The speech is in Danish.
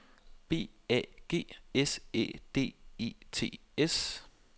B A G S Æ D E T S